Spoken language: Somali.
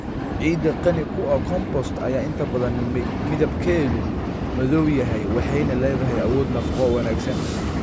Ciidda qani ku ah compost ayaa inta badan midabkeedu madow yahay waxayna leedahay awood nafaqo oo wanaagsan.